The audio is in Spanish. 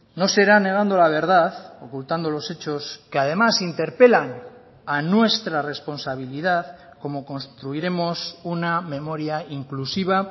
no será negando la verdad ocultando los hechos que además interpelan a nuestra responsabilidad como construiremos una memoria inclusiva